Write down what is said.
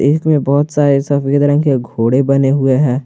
में बहुत सारे सफेद रंग के घोड़े बने हुए हैं।